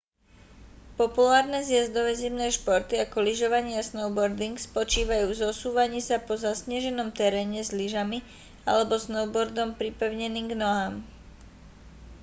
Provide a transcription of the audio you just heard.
populárne zjazdové zimné športy ako lyžovanie a snowboarding spočívajú v zosúvaní sa po zasneženom teréne s lyžami alebo snowboardom pripevneným k nohám